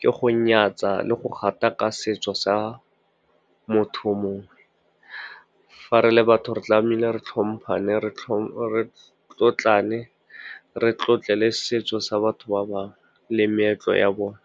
ke go nyatsa le go gataka setso sa motho o mongwe. Fa re le batho, re tlamehile re tlhompana, re tlotlane, re tlotle le setso sa batho ba bangwe le meetlo ya bone.